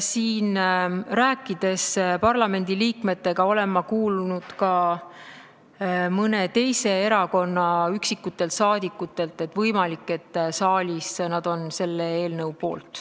Rääkides parlamendiliikmetega, olen ma kuulnud ka mõne teise erakonna üksikutelt liikmetelt, et võimalik, et saalis on nad selle eelnõu poolt.